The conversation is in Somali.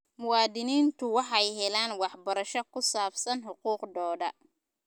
Muwaadiniintu waxay helaan waxbarasho ku saabsan xuquuqdooda.